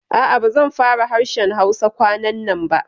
A'a, ba zan fara harshen Hausa kwanannan ba